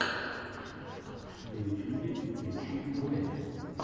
на ютюбе включи вайны